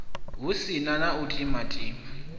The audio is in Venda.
hu si na u timatima